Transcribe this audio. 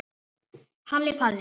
Halli Palli.